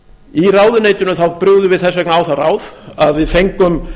í ráðuneytinu brugðum við þess vegna á það ráð að við fengum